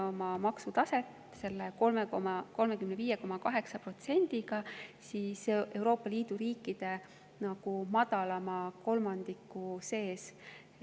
Selle 35,8%‑ga me hoiame oma maksutaset Euroopa Liidu riikide madalama kolmandiku sees.